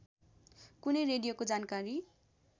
कुनै रेडियोको जानकारी